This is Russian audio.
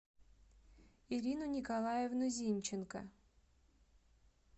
ирину николаевну зинченко